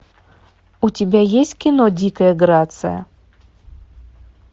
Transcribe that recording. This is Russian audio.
у тебя есть кино дикая грация